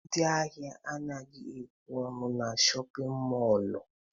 Ndị ahịa anaghị ekwe ọnụ na shọpịn mọlụ.